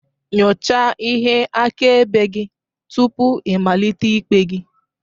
Nyochaa ihe akaebe gị tupu ịmalite ikpe gị